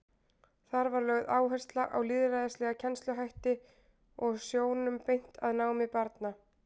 Þar var lögð áhersla á lýðræðislega kennsluhætti og sjónum beint að námi barna.